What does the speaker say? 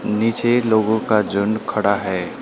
नीचे लोगों का झुंड खड़ा है।